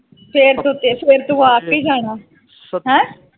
ਹੈਂ ਫਿਰ ਤੂੰ ਫਿਰ ਤੂੰ ਆਪ ਈ ਜਾਣਾ